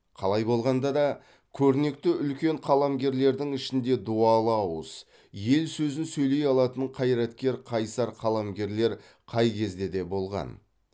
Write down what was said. қалай болғанда да көрнекті үлкен қаламгерлердің ішінде дуалы ауыз ел сөзін сөйлей алатын қайраткер қайсар қаламгерлер қай кезде де болған